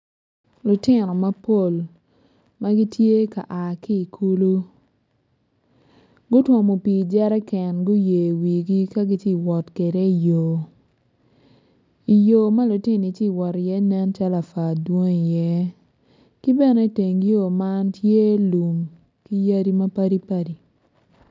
Lutino mapol ama gitye ka a ki i kulu gutwomo pii i jeriken giyeyo iwigi ka gitye wot kwede iyo iyo ma lutinoni tye ka wot iye nen calo apua dwong iye ki bene iteng yo man tye lum ki yadi mapadipadi.